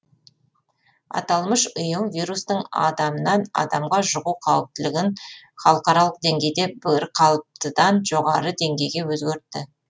аталмыш ұйым вирустың адамнан адамға жұғу қауіптілігін халықаралық деңгейде бірқалыптыдан жоғары деңгейге өзгертті